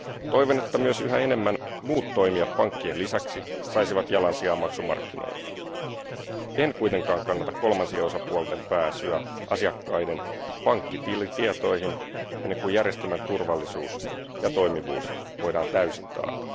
Toivon, että myös yhä enemmän muut toimijat pankkien lisäksi saisivat jalansijaa maksumarkkinoilla. En kuitenkaan kannata kolmansien osapuolten pääsyä asiakkaiden pankkitietoihin ennen kuin järjestelmän turvallisuus ja toimivuus voidaan täysin taata.